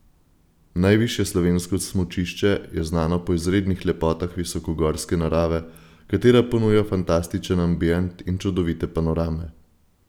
Najvišje slovensko smučišče je znano po izrednih lepotah visokogorske narave, katera ponuja fantastičen ambient in čudovite panorame.